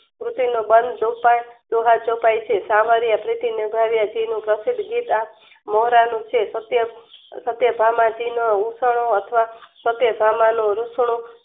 કૃતિનો ભંધ પૂરતા દુહા ચોપાઈ છે સામાન્ય સામાન્ય પ્રતિ નિર્ધારિત પ્રશિધ ગીત મોહરાનુ છે. કત્ય કાત્યધામજી નો ઉઠનો અથવા સત્યધમાં નું રૂષનું